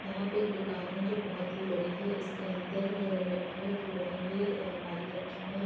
यहाँ पे एक दुकान है जोकि बोहोत ही बड़ी है इसके अंदर लकड़ियों की बनी हुई अलमारी रखी हुई हैं |